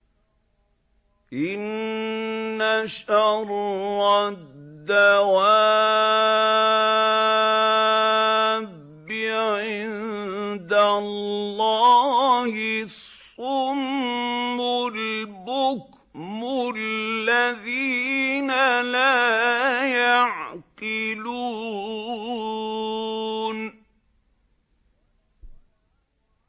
۞ إِنَّ شَرَّ الدَّوَابِّ عِندَ اللَّهِ الصُّمُّ الْبُكْمُ الَّذِينَ لَا يَعْقِلُونَ